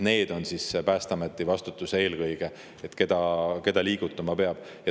Nemad eelkõige on Päästeameti vastutada, keda liigutama peab.